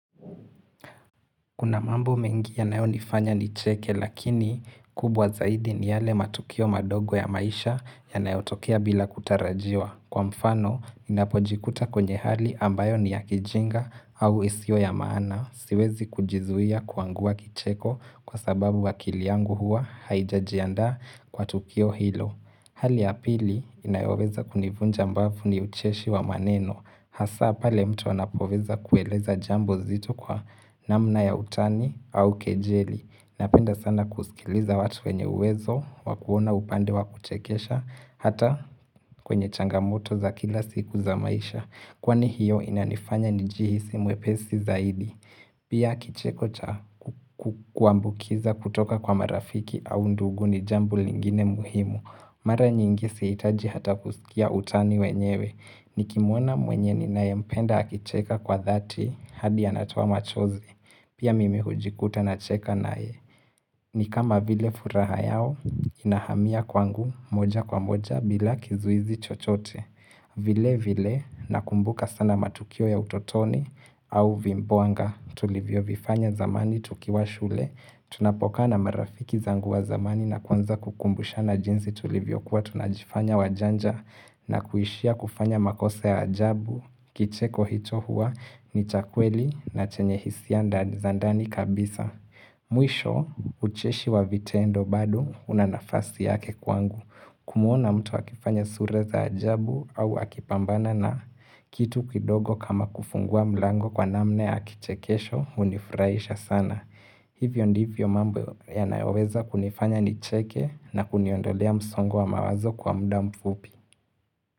Kuna mambo mengi yanayonifanya nicheke lakini kubwa zaidi ni yale matukio madogo ya maisha yanayotokea bila kutarajiwa. Kwa mfano, ninapojikuta kwenye hali ambayo ni ya kijinga au isio ya maana. Siwezi kujizuia kuangua kicheko kwa sababu akili yangu huwa haijajiandaa kwa tukio hilo. Hali ya pili inayoweza kunivunja mbavu ni ucheshi wa maneno. Hasaa pale mtu anapoweza kueleza jambo zito kwa namna ya utani au kejeli. Napenda sana kusikiliza watu wenye uwezo, wa kuona upande wa kuchekesha, hata kwenye changamoto za kila siku za maisha. Kwani hiyo inanifanya njihisi mwepesi zaidi. Pia kicheko cha kuambukiza kutoka kwa marafiki au ndugu ni jambo lingine muhimu. Mara nyingi sihitaji hata kuskia utani wenyewe. Nikimwona mwenye ninayempenda akicheka kwa thati hadi anatoa machozi. Pia mimi hujikuta nacheka naye. Ni kama vile furaha yao inahamia kwangu moja kwa moja bila kizuizi chochote vile vile nakumbuka sana matukio ya utotoni au vimboanga tulivyo vifanya zamani tukiwa shule Tunapokaa na marafiki zangu wa zamani na kwanza kukumbushana jinsi tulivyokuwa tunajifanya wajanja na kuishia kufanya makosa ya ajabu, kicheko hicho huwa ni cha kweli na chenye hisia ndani za ndani kabisa Mwisho ucheshi wa vitendo badu una nafasi yake kwangu Kumwona mtu akifanya sura za ajabu au akipambana na kitu kidogo kama kufungua mlango kwa namna ya kichekesho hunifurahisha sana Hivyo ndivyo mambo yanayoweza kunifanya nicheke na kuniondolea msongo wa mawazo kwa muda mfupi.